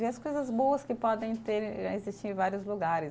Ver as coisas boas que podem ter, eh existir em vários lugares.